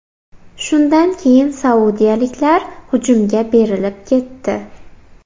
Shundan keyin saudiyaliklar hujumga berilib ketdi.